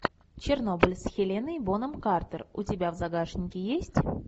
чернобыль с хеленой бонем картер у тебя в загашнике есть